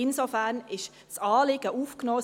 Insofern wurde das Anliegen aufgenommen.